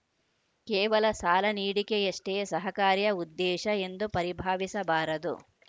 ಕೇವಲ ಸಾಲ ನೀಡಿಕೆಯಷ್ಟೇ ಸಹಕಾರಿಯ ಉದ್ದೇಶ ಎಂದು ಪರಿಭಾವಿಸಬಾರದು